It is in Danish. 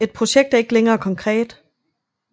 Et projekt er ikke længere konkret